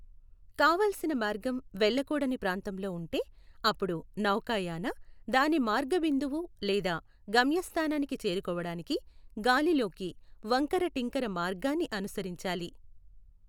కావాల్సిన మార్గం వెళ్ళకూడని ప్రాంతంలో ఉంటే, అప్పుడు నౌకాయాన, దాని మార్గ బిందువు లేదా గమ్యస్థానానికి చేరుకోవడానికి గాలిలోకి వంకర టింకర మార్గాన్ని అనుసరించాలి.